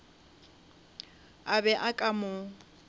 a be a ka mo